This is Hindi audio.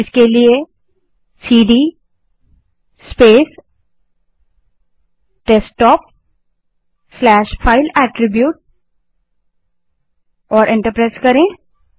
उसके लिए CD space desktop slash file attribute type करें और एंटर दबायें